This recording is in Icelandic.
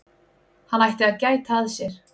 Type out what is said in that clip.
Hann ætti að gæta að sér.